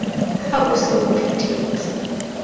ha o se o phethetse